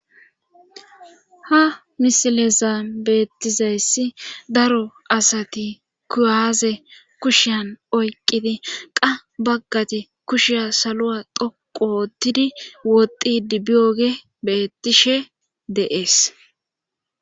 ha misileza beettizayssi daro asati kuyaaze kushiyan oyqidi qa baggati kushiya saluwa dhoqooottidi woxidi biyoge beettishe deees